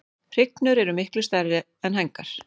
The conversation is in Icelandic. Hrygnur eru miklu stærri er hængar.